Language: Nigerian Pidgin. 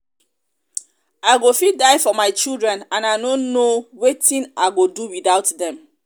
i go fit die for my children and i no know wetin i i go do without dem